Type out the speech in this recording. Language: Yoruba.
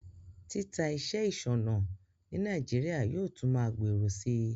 Títa iṣẹ́ ìsònà Naijiria yio tun ma gbòrò si